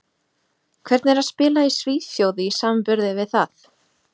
Hvernig er að spila í Svíþjóð í samanburði við það?